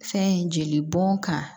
Fɛn jeli bɔn kan